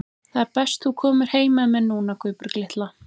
Það er best þú komir heim með mér núna, Guðbjörg litla.